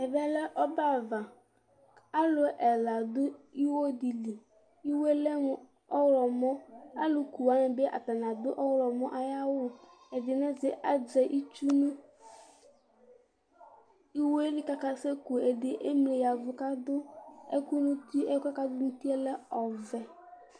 ɛmɛ bi lɛ ɔbɛ ava, alu ɛla di du iwo di li, iwoe lɛ mu ɔwlɔmɔ, alu ku wʋani bi ata ni adu ɔwlɔmɔ ay'awu ɛdini azɛ itsu nu iwoe li kaka seku, ɛdi emli yavu ka adu ɛku nu uti, ɛkuɛ k'adu n'uti lɛ ɔvɛ